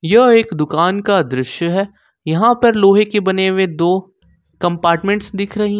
यह एक दुकान का दृश्य है यहां पर लोहे के बने हुए दो कंपार्टमेंट्स दिख रही --